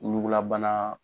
Ɲugulabana